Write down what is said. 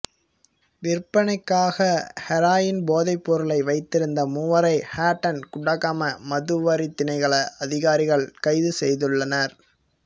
விற்பனைக்காக ஹெரோயின் போதைபொருளை வைத்திருந்த மூவரை ஹட்டன் குடாகம மதுவரி தினைக்கள அதிகாரிகள் கைது செய்துள்ளனர்